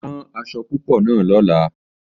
Rán aṣọ̀ púpọ̀ náà lọ̀lá!